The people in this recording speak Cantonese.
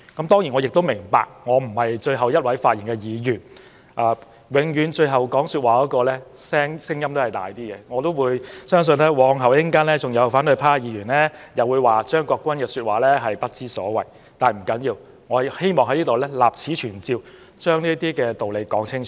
當然，我明白自己並非最後一位發言的議員，而最後發言的那一位的聲音永遠較大，相信稍後也會有反對派議員批評我的說話不知所謂，但不要緊，我希望立此存照，把道理說清楚。